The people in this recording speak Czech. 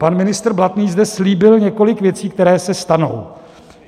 Pan ministr Blatný zde slíbil několik věcí, které se stanou.